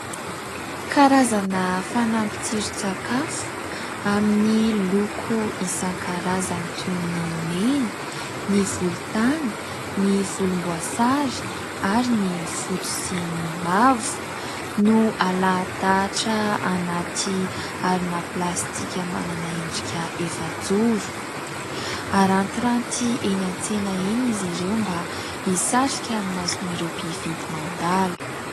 Karazana fanampin-tsiron-tsakafo amin'ny loko isan-karazany toy ny : mena, ny volontany, ny volomboasary ary ny fotsy sy ny mavo no alahadahatra anaty harona plastika manana endrika efa-joro. Arantiranty eny an-tsena eny izy ireo mba hisarika ny mason'ireo mpividy mandalo.